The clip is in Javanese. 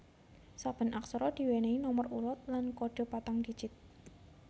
Saben aksara diwènèhi nomer urut lan kodhe patang digit